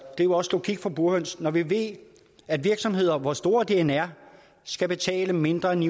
jo også logik for burhøns når vi ved at virksomheder hvor store de end er skal betale mindre end ni